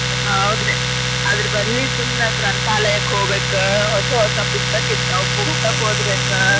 ಹೌದ್ರಿ ಅದರ ಬದ್ಲಿ ಸುಮ್ನ ಗ್ರಂಥಾಲಯಕ್ಕ ಹೊಗ್ಬೇಕ್ ಹೊಸ ಹೊಸ ಪುಸ್ತಕ ಇರ್ತಾವ್ ಪುಸ್ತಕ ಓದಬೇಕ.